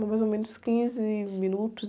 Dá mais ou menos quinze minutos.